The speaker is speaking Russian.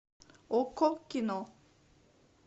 окко кино